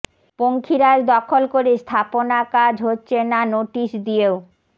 পঙ্খিরাজ দখল করে স্থাপনা কাজ হচ্ছে না নোটিশ দিয়েও